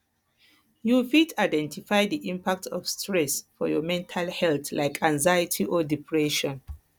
you fit fit identify di impact of stress for your mental health like anxiety or depression